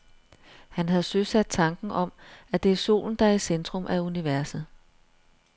Han havde søsat tanken om, at det er solen, der er i centrum af universet.